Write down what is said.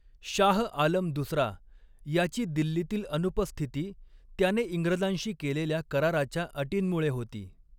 शाह आलम दुसरा याची दिल्लीतील अनुपस्थिती त्याने इंग्रजांशी केलेल्या कराराच्या अटींमुळे होती.